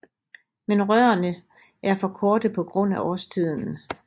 Men rørene er for korte på grund af årstiden